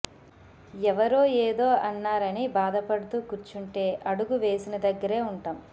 ఎవరో ఏదో అన్నారని బాధపడుతూ కూర్చుంటే అడుగు వేసిన దగ్గరే ఉంటాం